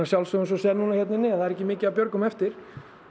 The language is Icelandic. þú sérð hérna inni það er ekki mikið af björgum eftir